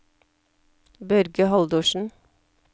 Børge Haldorsen